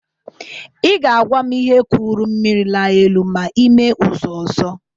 Ị ga-agwa m ihe kụrụ mmiri laa elu ma ime ụzụ ọzọ